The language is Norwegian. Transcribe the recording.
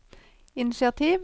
initiativ